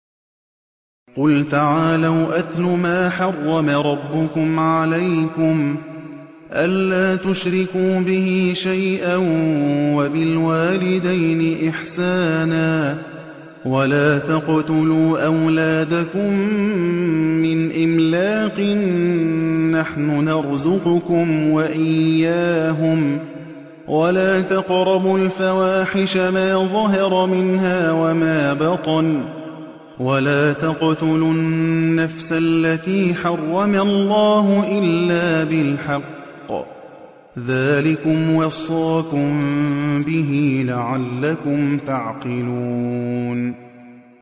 ۞ قُلْ تَعَالَوْا أَتْلُ مَا حَرَّمَ رَبُّكُمْ عَلَيْكُمْ ۖ أَلَّا تُشْرِكُوا بِهِ شَيْئًا ۖ وَبِالْوَالِدَيْنِ إِحْسَانًا ۖ وَلَا تَقْتُلُوا أَوْلَادَكُم مِّنْ إِمْلَاقٍ ۖ نَّحْنُ نَرْزُقُكُمْ وَإِيَّاهُمْ ۖ وَلَا تَقْرَبُوا الْفَوَاحِشَ مَا ظَهَرَ مِنْهَا وَمَا بَطَنَ ۖ وَلَا تَقْتُلُوا النَّفْسَ الَّتِي حَرَّمَ اللَّهُ إِلَّا بِالْحَقِّ ۚ ذَٰلِكُمْ وَصَّاكُم بِهِ لَعَلَّكُمْ تَعْقِلُونَ